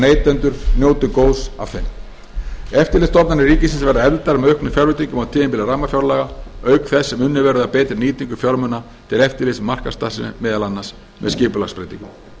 neytendur njóti góðs af þeim eftirlitsstofnanir ríkisins verða efldar með auknum fjárveitingum á tímabili rammafjárlaga auk þess sem unnið verður að betri nýtingu fjármuna til eftirlits með markaðsstarfsemi meðal annars með skipulagsbreytingum